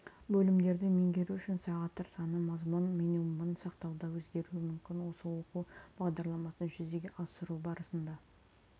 бөлімдерді меңгеру үшін сағаттар саны мазмұн минимумын сақтауда өзгеруі мүмкін осы оқу бағдарламасын жүзеге асыру барысында